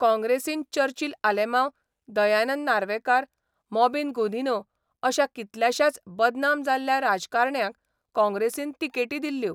काँग्रेसीन चर्चिल आलेमांव, दयानंद नार्वेकार, मॉबिन गुदिन्हो अश्या कितल्याशाच बदनाम जाल्ल्या राजकारण्यांक काँग्रेसीन तिकेटी दिल्ल्यो.